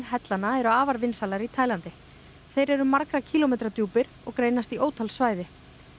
hellana eru afar vinsælar í Taílandi þeir eru margra kílómetra djúpir og greinast í ótal svæði